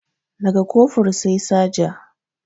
Da ga Kofur sai Saja